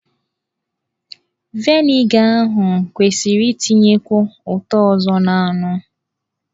Vịnịga ahụ kwesịrị itinyekwu ụtọ ọzọ n'anụ.